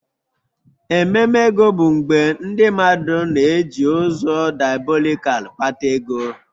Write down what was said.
Ememe ego bụ mgbe ndị mmadụ na-eji ụzọ diabolikal kpata ego